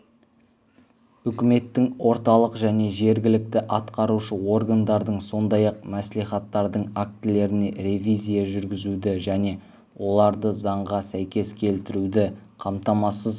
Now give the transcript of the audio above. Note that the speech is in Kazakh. үкіметтің орталық және жергілікті атқарушы органдардың сондай-ақ мәслихаттардың актілеріне ревизия жүргізуді және олардызаңға сәйкес келтіруді қамтамасыз